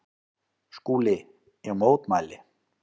SKÚLI: Ég mótmæli!